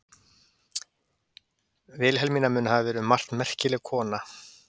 Vilhelmína mun hafa verið um margt merkileg kona.